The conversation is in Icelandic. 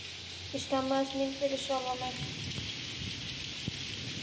Ég skammaðist mín fyrir sjálfa mig.